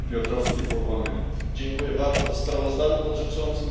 Panie Przewodniczący! W sprawozdaniu dotyczącym